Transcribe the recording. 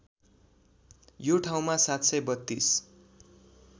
यो ठाउँमा ७३२